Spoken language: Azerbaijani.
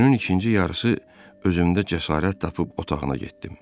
Günün ikinci yarısı özümdə cəsarət tapıb otağına getdim.